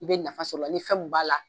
I bɛ nafa sɔr'a la ni fɛn min b'a la